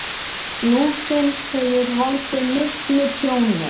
Lúsin hefur valdið miklu tjóni.